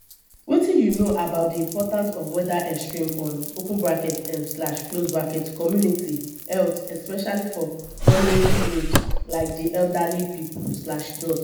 wetin you know about di impact of weather extremes on um community health especially for vulnerable groups like di elderly people.